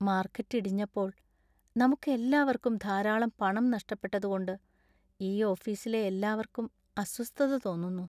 Market ഇടിഞ്ഞപ്പോൾ നമുക്കെല്ലാവർക്കും ധാരാളം പണം നഷ്ടപ്പെട്ടതുകൊണ്ട് ഈ ഓഫീസിലെ എല്ലാവർക്കും അസ്വസ്ഥത തോന്നുന്നു.